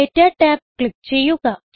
data tab click ചെയ്യുക